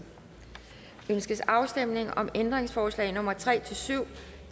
ønskes afstemning om ændringsforslag nummer tre syv